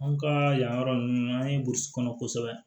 An ka yan yɔrɔ ninnu an ye burusi kɔnɔ kosɛbɛ